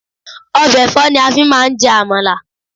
Ọbẹ̀ ẹ̀fọ́ ni a fi máa ń jẹ àmàlà.